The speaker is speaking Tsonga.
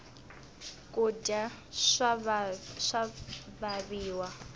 kudya swa vaviwa